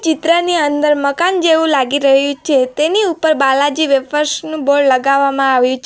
ચિત્ર ની અંદર મકાન જેવું લાગી રહ્યું છે તેની ઉપર બાલાજી વેફર્સ નુ બૉર્ડ લગાવામાં આવ્યુ છ --